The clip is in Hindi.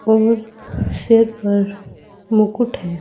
और सिर पर मुकट है।